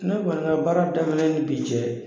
Ne kɔni ka baara daminɛ ni bi cɛ